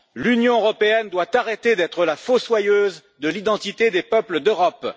L'Union européenne doit arrêter d'être la fossoyeuse de l'identité des peuples d'Europe.